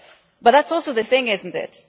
But that is also the point isn't it?